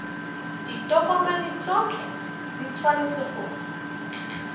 ditokomane tsotlhe di tshwanetse go